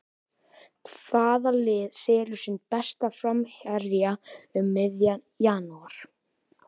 Hvaða lið selur sinn besta framherja um miðjan janúar?